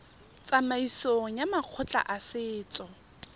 tsamaisong ya makgotla a setso